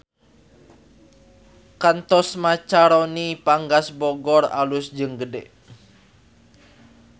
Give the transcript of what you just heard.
Kantor Macaroni Panggang Bogor alus jeung gede